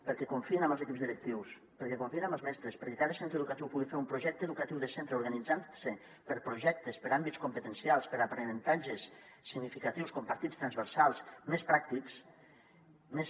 per·què confien amb els equips directius perquè confiïn amb els mestres perquè cada centre educatiu pugui fer un projecte educatiu de centre organitzant·se per projectes per àmbits competencials per aprenentatges significatius compartits transversals més pràctics més